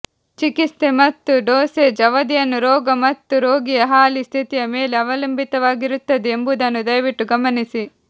ಚಿಕಿತ್ಸೆ ಮತ್ತು ಡೋಸೇಜ್ ಅವಧಿಯನ್ನು ರೋಗ ಮತ್ತು ರೋಗಿಯ ಹಾಲಿ ಸ್ಥಿತಿಯ ಮೇಲೆ ಅವಲಂಬಿತವಾಗಿರುತ್ತದೆ ಎಂಬುದನ್ನು ದಯವಿಟ್ಟು ಗಮನಿಸಿ